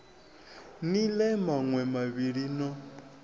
ni ḽee maṋwe mavhili no